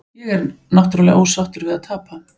Ég er náttúrulega ósáttur við að tapa.